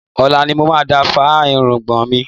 Ọ̀la ni mo máa fá irùngbọ̀n mi.